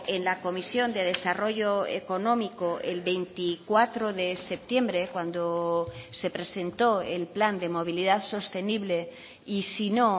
en la comisión de desarrollo económico el veinticuatro de septiembre cuando se presentó el plan de movilidad sostenible y si no